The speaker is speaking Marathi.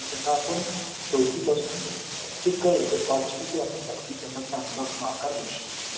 त्यांना आपण चौथी पासून ते कळलं तर पाचवी ते आपण दहावी वी त्यांना चांगला आपण आकार देऊ शकतो